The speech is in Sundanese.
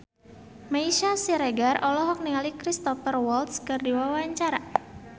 Meisya Siregar olohok ningali Cristhoper Waltz keur diwawancara